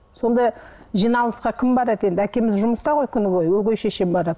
сонда жиналысқа кім барады енді әкеміз жұмыста ғой күні бойы өгей шешем барады